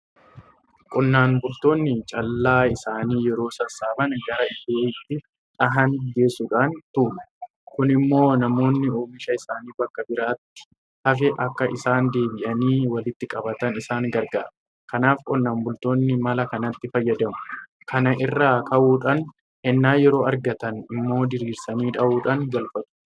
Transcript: Qonnaan bultoonni callaa isaanii yeroo sassaaban gara iddoo itti dhahanii geessuudhaan tuulu. Kun immoo namoonni oomisha isaanii bakka biraatti hafe akka isaan deebi'anii walitti qabatan isaan gargaara. Kanaaf qonnaan bultoonni mala kanatti fayyadamu. Kana irraa ka'uudhaan ennaa yeroo argatan immoo diriirsanii dhahuudhaan galfatu.